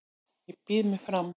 Ég býð mig fram